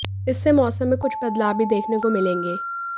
इससे मौसम में कुछ बदलाव भी देखने को मिलेंगे